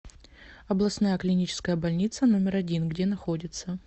областная клиническая больница номер один где находится